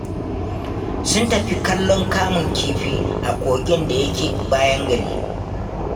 Sun tafi kallon kamun kifi a kogin da yake bayan gari